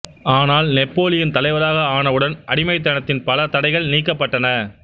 ஆனால் நெப்பொலியன் தலைவராக ஆனவுடன் அடிமைதனத்தின் பல தடைகள் நீக்கப்பட்டன